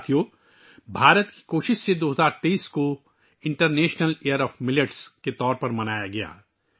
دوستو، ہندوستان کی کوششوں سے، 2023 کو موٹے اناج ملیٹس کا بین الاقوامی سال کے طور پر منایا گیا